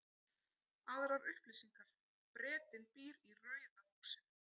Aðrar upplýsingar: Bretinn býr í rauða húsinu.